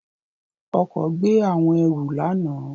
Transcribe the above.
Ọkọ gbe awọn ẹru lana.